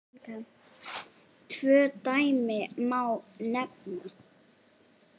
Tvö dæmi má nefna.